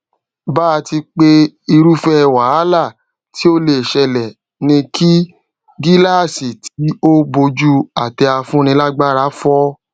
bàti pé irúfẹ wàhálà tí ó lè ṣẹlẹ ni kí gíláàsì tí ó bojú àtẹ afúnilágbára fọ